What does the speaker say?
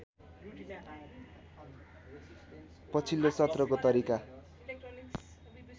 पछिल्लो सत्रको तरिका